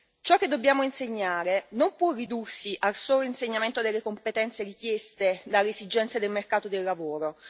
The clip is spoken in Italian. Ciò che dobbiamo insegnare non può ridursi al solo insegnamento delle competenze richieste dalle esigenze del mercato del lavoro.